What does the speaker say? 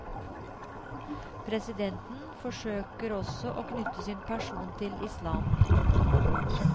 Presidenten forsøker også å knytte sin person til islam.